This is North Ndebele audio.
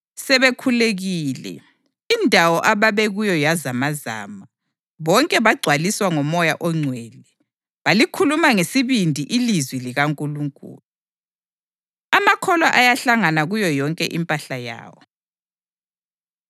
Sebekhulekile, indawo ababekuyo yazamazama. Bonke bagcwaliswa ngoMoya oNgcwele, balikhuluma ngesibindi ilizwi likaNkulunkulu. Amakholwa Ayahlanganyela Kuyo Yonke Impahla Yawo